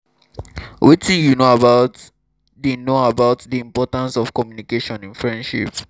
wetin you know about di know about di importance of communication in friendship?